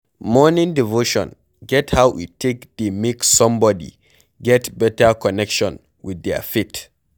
Morning devotion get how e take dey make somebody get better connection with their faith